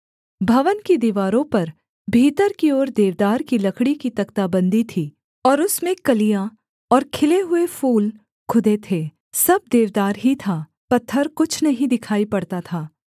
भवन की दीवारों पर भीतर की ओर देवदार की लकड़ी की तख्ताबंदी थी और उसमें कलियाँ और खिले हुए फूल खुदे थे सब देवदार ही था पत्थर कुछ नहीं दिखाई पड़ता था